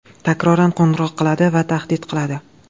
takroran qo‘ng‘iroq qiladi va tahdid qiladi.